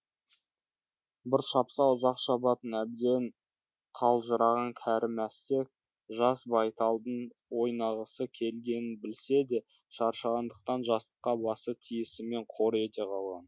бір шапса ұзақ шабатын әбден қалжыраған кәрі мәстек жас байталдың ойнағысы келгенін білсе де шаршағандықтан жастыққа басы тиісімен қор ете қалған